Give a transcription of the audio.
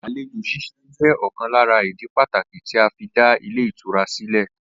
Àlejò s̩ís̩e jé̩ ò̩kan lára ìdí pàtàkì tí a fi dá ilé ìtura sílè̩